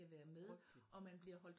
Frygteligt